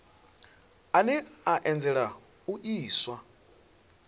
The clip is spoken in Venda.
ane a anzela u iswa